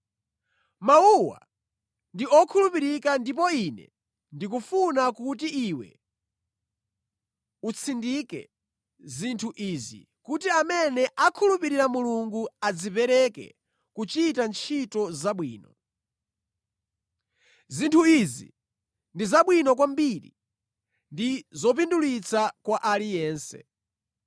Mawuwa ndi okhulupirika ndipo ine ndikufuna kuti iwe utsindike zinthu izi, kuti amene akhulupirira Mulungu adzipereke kuchita ntchito zabwino. Zinthu izi ndi zabwino kwambiri ndi zopindulitsa kwa aliyense.